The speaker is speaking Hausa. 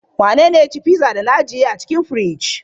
Wanene ya ci pizza da na ajiye a cikin firij?